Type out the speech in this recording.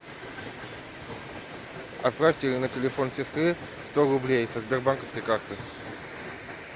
отправьте на телефон сестры сто рублей со сбербанковской карты